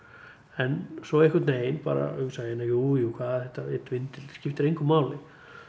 en svo einhvernvegin bara hugsa ég jú jú hvað er þetta einn vindill skiptir engu máli